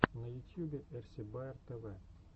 на ютьюбе эрси баер тв